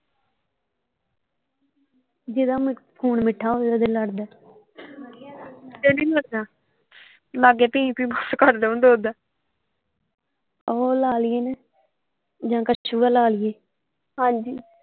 ਜਿਹਦਾ ਖੂਨ ਮਿੱਠਾ ਹੋਵੇ ਉਹਦੇ ਲੜਦਾ ਲਾਗੇ ਵੀ ਨਹੀਂ ਲੱਗਾ ਲਾਗੇ ਭੀਂ ਭੀਂ ਬਸ ਕਰਦਾ ਹੁੰਦਾ ਓਦਾਂ ਓਹ ਲਾ ਲਈਏ ਨਾ ਜਾਂ ਕਛੂਆ ਲਾ ਲਈਏ ਹਾਂਜੀ।